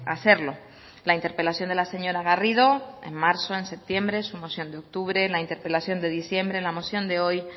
hacerlo la interpelación de la señora garrido en marzo en septiembre su moción de octubre la interpelación de diciembre la moción de hoy